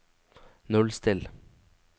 nullstill